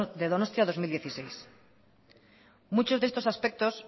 donostia dos mil dieciséis muchos de estos aspectos